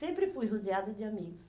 Sempre fui rodeada de amigos.